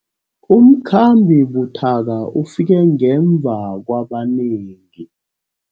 Umkhambi buthaka ufike ngemva kwabanengi.